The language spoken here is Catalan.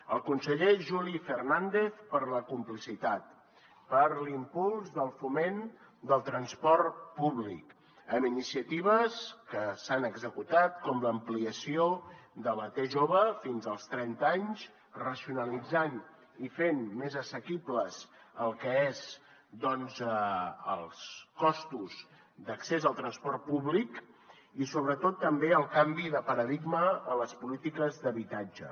al conseller juli fernàndez per la complicitat per l’impuls del foment del transport públic amb iniciatives que s’han executat com l’ampliació de la t jove fins als trenta anys racionalitzant i fent més assequibles el que és doncs els costos d’accés al transport públic i sobretot també el canvi de paradigma en les polítiques d’habitatge